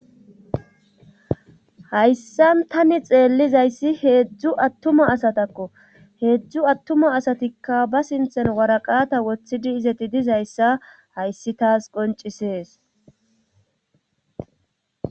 Hayssan tani xeellizayssi heedzdzu attuma asatakko heedzdzu attuma asatikka ba sinthen waraqata woththidi izeti dizayssa hayssi taas qoncisees.